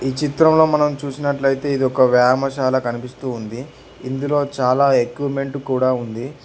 ఈ చిత్రం లో మనం చుసినట్లుయితే ఇది వ్యామాయశాల కనిపిస్తూ ఉంది ఇందులో చాలా ఎక్విమెంటూ కూడా ఉంది.